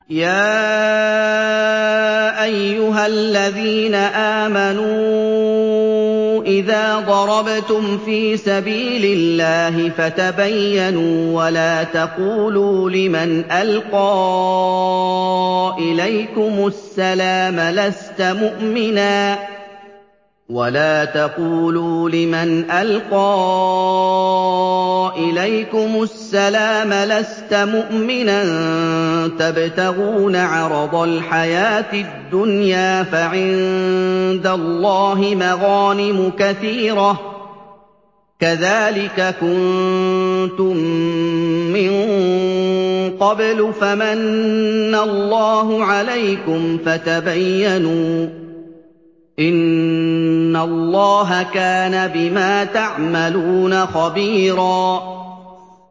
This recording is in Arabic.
يَا أَيُّهَا الَّذِينَ آمَنُوا إِذَا ضَرَبْتُمْ فِي سَبِيلِ اللَّهِ فَتَبَيَّنُوا وَلَا تَقُولُوا لِمَنْ أَلْقَىٰ إِلَيْكُمُ السَّلَامَ لَسْتَ مُؤْمِنًا تَبْتَغُونَ عَرَضَ الْحَيَاةِ الدُّنْيَا فَعِندَ اللَّهِ مَغَانِمُ كَثِيرَةٌ ۚ كَذَٰلِكَ كُنتُم مِّن قَبْلُ فَمَنَّ اللَّهُ عَلَيْكُمْ فَتَبَيَّنُوا ۚ إِنَّ اللَّهَ كَانَ بِمَا تَعْمَلُونَ خَبِيرًا